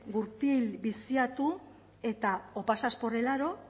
gurpil biziatu eta o pasas por el aro